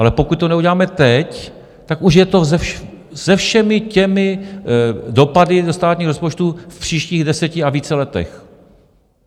Ale pokud to neuděláme teď, tak už je to se všemi těmi dopady ze státního rozpočtu v příštích deseti a více letech.